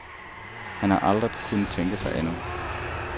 Han har aldrig kunnet tænke sig andet.